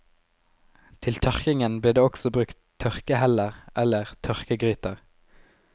Til tørkingen ble det også brukt tørkeheller eller tørkegryter.